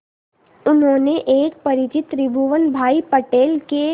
उन्होंने एक परिचित त्रिभुवन भाई पटेल के